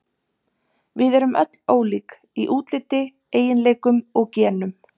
Við erum öll ólík, í útliti, eiginleikum og genum.